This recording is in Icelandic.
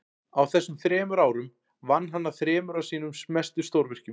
á þessum árum vann hann að þremur af sínum mestu stórvirkjum